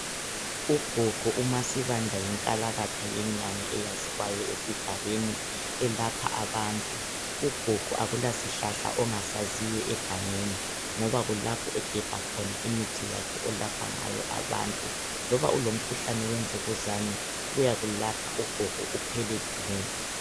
Ugogo uMaSibanda yinkalakatha yenyanga eyaziwayo esigabeni elapha abantu. Ugogo akulasihlahla ongasaziyo egangeni ngoba kulapho egebha khona imithi yakhe olapha ngayo abantu. Loba ulomkhuhlane wemvukuzane uyakulapha ugogo uphele du.